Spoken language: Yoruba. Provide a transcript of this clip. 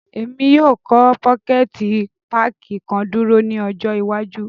Emi yóò kọ pokẹti pààki kan duro ni ọjọ iwaju.